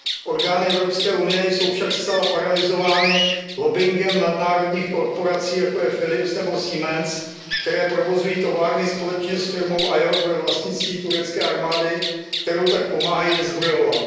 Orgány Evropské unie jsou však zcela paralyzovány lobbingem nadnárodních korporací, jako je Philips nebo Siemens, které provozují továrny společně s firmou AIOC ve vlastnictví turecké armády, kterou tak pomáhají vyzbrojovat.